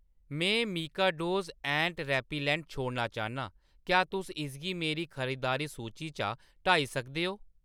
में मिकाडोज़ ant repellent छोड़ना चाह्‌न्नां, क्या तुस इसगी मेरी खरीदारी सूची चा हटाई सकदे ओ ?